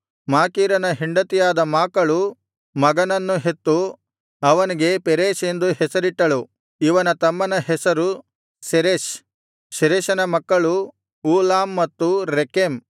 ಮಾಕೀರನ ಹೆಂಡತಿಯಾದ ಮಾಕಳು ಮಗನನ್ನು ಹೆತ್ತು ಅವನಿಗೆ ಪೆರೇಷ್ ಎಂದು ಹೆಸರಿಟ್ಟಳು ಇವನ ತಮ್ಮನ ಹೆಸರು ಶೆರೆಷ್ ಶೆರೆಷನ ಮಕ್ಕಳು ಊಲಾಮ್ ಮತ್ತು ರೆಕೆಮ್